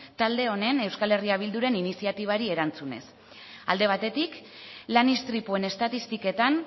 talde honen eh bilduren iniziatibari erantzunez alde batetik lan istripuen estatistiketan